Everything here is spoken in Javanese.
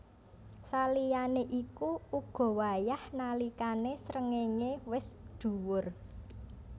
Saliyané iku uga wayah nalikané srengéngé wis dhuwur